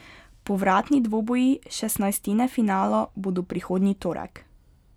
Povratni dvoboji šestnajstine finala bodo prihodnji torek.